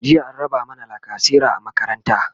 jiya an raba mana lacasera a makaranta